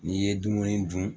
N'i ye dumuni dun